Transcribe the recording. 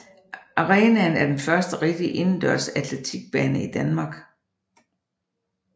Arenaen er den første rigtige indendørs atletikbane i Danmark